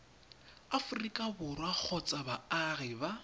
aforika borwa kgotsa baagi ba